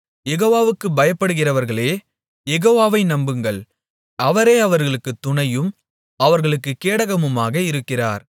யெகோவாவுக்குப் பயப்படுகிறவர்களே யெகோவாவை நம்புங்கள் அவரே அவர்களுக்குத் துணையும் அவர்களுக்குக் கேடகமுமாக இருக்கிறார்